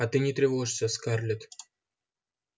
а ты не тревожься скарлетт